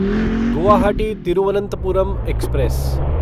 Guwahati Thiruvananthapuram express